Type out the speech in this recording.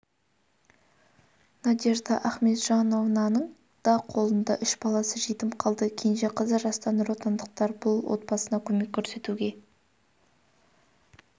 надежда ахметжанованың да қолында үш баласы жетім қалды кенже қызы жаста нұротандықтар бұл отбасына көмек көрсетуге